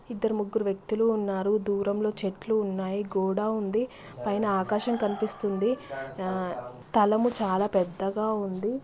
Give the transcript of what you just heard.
ఇక్కడ ముగ్గురు వ్యక్తులు ఉన్నారు. దూరంగా చెట్లు ఉన్నాయి. గోడ ఉంది. పైన ఆకాశం కనిపిస్తుంది. స్థలము చాలా పెద్దగా ఉంది.